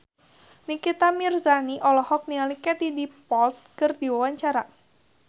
Nikita Mirzani olohok ningali Katie Dippold keur diwawancara